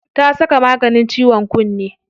Ta saka maganin ciwon kunne.